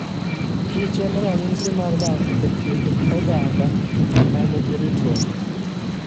kich en ranyisi mar dak e kind oganda ma nigi ritruok.